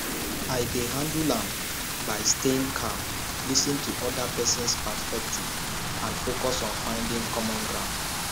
i dey handle am by staying calm lis ten to oda persons perspective and focus on finding common ground